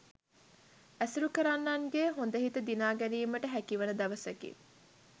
ඇසුරු කරන්නන්ගේ හොඳ හිත දිනා ගැනීමට හැකිවන දවසකි